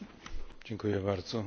Panie Przewodniczący!